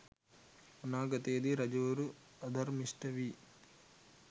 අනාගතයේදී රජවරු අධර්මිෂ්ට වී